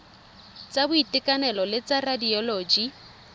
tsa boitekanelo le tsa radioloji